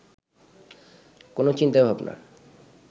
কোনও চিন্তাভাবনা